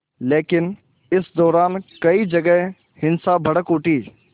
लेकिन इस दौरान कई जगह हिंसा भड़क उठी